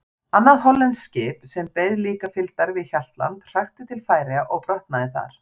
Annað hollenskt skip, sem beið líka fylgdar við Hjaltland, hrakti til Færeyja og brotnaði þar.